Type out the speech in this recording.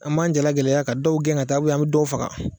An b'an jalagɛlɛnya ka dɔw gɛn ka taa an bɛ dɔw faga